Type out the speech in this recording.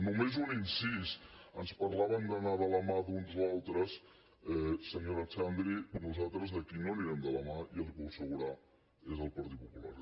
només un incís ens parlaven d’anar de la mà d’uns o altres senyora xandri nosaltres de qui no anirem de la mà ja li ho puc assegurar és del partit popular